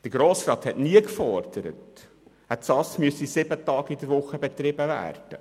Der Grosse Rat forderte nie, eine Ausnüchterungsstelle müsse an sieben Tage in der Woche betrieben werden.